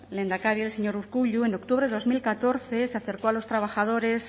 lehendakari el señor urkullu en octubre de dos mil catorce se acercó a los trabajadores